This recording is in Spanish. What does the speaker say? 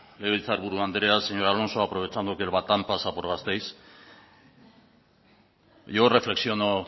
legebiltzar buru anderea señor alonso aprovechando que el batán pasar por gasteiz yo reflexiono